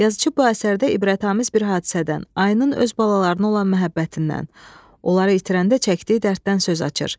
Yazıçı bu əsərdə ibrətamiz bir hadisədən, ayının öz balalarına olan məhəbbətindən, onları itirəndə çəkdiyi dərddən söz açır.